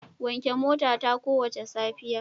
Wanke motata kowace safiya.